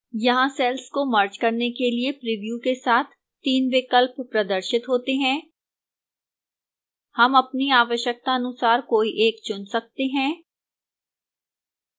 यहां cells को merge करने के लिए प्रिव्यू के साथ तीन विकल्प प्रदर्शित होते हैं हम अपनी आवश्यकतानुसार कोई एक चुन सकते हैं